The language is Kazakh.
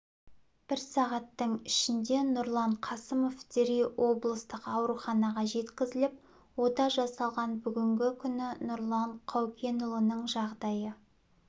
бір сағаттың ішінде нұрлан қасымов дереу облыстық ауруханаға жеткізіліп ота жасалған бүгінгі күні нұрлан қаукенұлының жағдайы